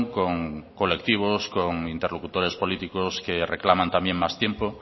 con colectivos con interlocutores políticos que reclaman también más tiempo